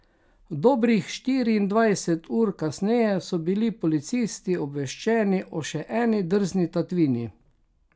Dobrih štiriindvajset ur kasneje so bili policisti obveščeni o še eni drzni tatvini.